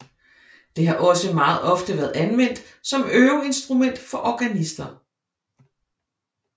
Det har også meget ofte været anvendt som øveinstrument for organister